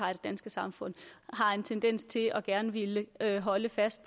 danske samfund har en tendens til gerne at ville holde fast